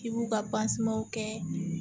I b'u ka kɛ